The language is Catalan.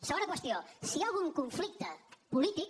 segona qüestió si hi ha algun conflicte polític